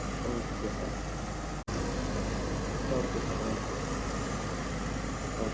okay sir okay sir okay okay